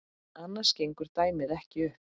Annars gengur dæmið ekki upp.